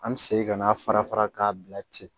An bɛ segin ka n'a fara fara k'a bila ten